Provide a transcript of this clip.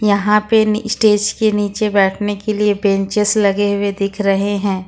यहां पे स्टेज के नीचे बैठने के लिए ब्रेंचेज लगे हुए दिख रहे हैं।